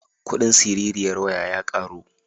Kuɗin siririyar waya ya ƙaru.